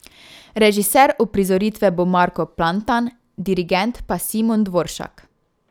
Režiser uprizoritve bo Marko Plantan, dirigent pa Simon Dvoršak.